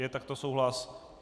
Je takto souhlas?